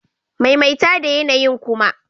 Maimaita da yanayi'n kuma!